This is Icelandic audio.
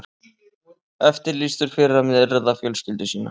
Eftirlýstur fyrir að myrða fjölskyldu sína